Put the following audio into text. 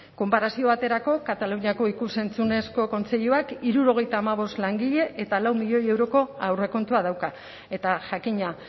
konparazio baterako kataluniako ikus entzunezko kontseiluak hirurogeita hamabost langile eta lau milioi euroko aurrekontua dauka eta jakina